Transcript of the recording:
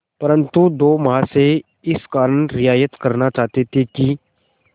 परंतु दो महाशय इस कारण रियायत करना चाहते थे कि